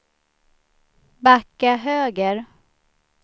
backa höger